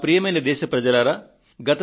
ప్రియమైన నా దేశ ప్రజలారా